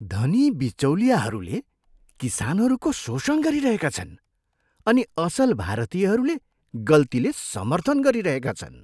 धनी बिचौलियाहरूले किसानहरूको शोषण गरिरहेका छन् अनि असल भारतीयहरूले गल्तीले समर्थन गरिरहेका छन्।